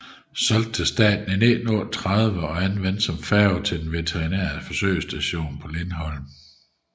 Solgt til Staten i 1938 og anvendt som færge til den veterinære forsøgsstation på Lindholm